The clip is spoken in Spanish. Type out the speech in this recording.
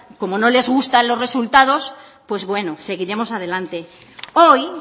como les gustan los resultados pues bueno seguiremos adelante hoy